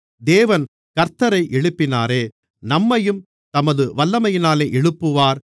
தேவன் கர்த்த்தரை எழுப்பினாரே நம்மையும் தமது வல்லமையினாலே எழுப்புவார்